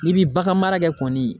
I bi bagan mara kɛ kɔni